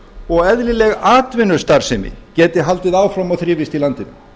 og eðlileg atvinnustarfsemi geti haldið áfram og þrifist í landinu